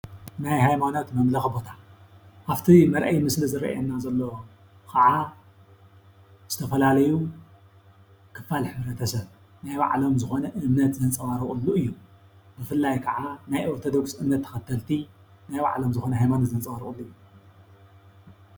ናይ ሃይማኖት መምለኪ ቦታ ኣብቲ መርኣዪ ምስሊ ይርኣየና ዘሎ ከዓ ዝተፈላለዩ ክፋል ሕብረተሰብ ናይ ባዕሎም ዝኾነ እምነት ዘንፀባርቕሉ እዩ፡፡ ብፍላይ ከዓ ናይ ኦርቶዶክስ እምነት ተኸተልቲ ናይ ባዕሎም ዝኾነ ሃይማኖት ዘንፀባርቕሉ እዩ፡፡